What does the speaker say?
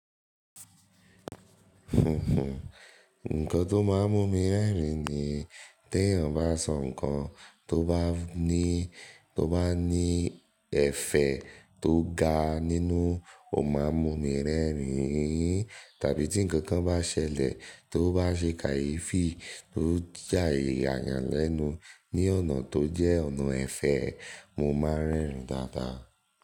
Nǹkan tó máa ń mú mi rẹ́rìn-ín ni tí èèyàn bá sọ nǹkan tó bá ní, tó bá ní ẹ̀fẹ̀ tó ga nínú, ó máa ń mú mi rẹ́rìn-ín. Tàbí tí nǹkankan bá ṣẹlẹ̀ tó bá ṣe kàyeefì, tó je ìyà yàn lẹ́nu ní ọ̀nà tó jẹ́ ọ̀nà ẹ̀fẹ̀, mo máa ń rẹ́rìn-ín dáadáa.